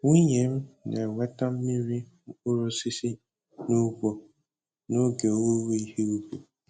Nwunye m na-eweta mmiri mkpụrụ osisi n'ugbo n'oge owuwe ihe ubi.